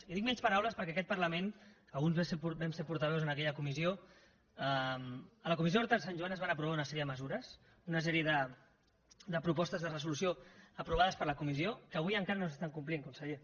i dic menys paraules perquè en aquest parlament alguns vam ser portaveus en aquella comissió en la comissió d’horta de sant joan es van aprovar una sèrie de mesures una sèrie de propostes de resolució aprovades per la comissió que avui encara no s’estan complint conseller